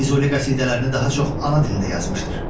Füzuli qəsidələrini daha çox ana dilində yazmışdır.